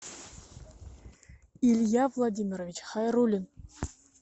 илья владимирович хайруллин